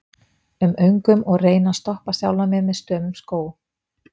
um öngum og reyni að stoppa sjálfan mig með stömum skó